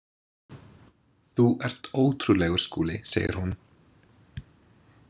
Þú ert ótrúlegur, Skúli, segir hún.